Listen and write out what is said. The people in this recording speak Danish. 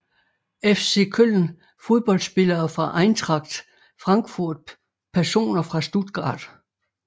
FC Köln Fodboldspillere fra Eintracht Frankfurt Personer fra Stuttgart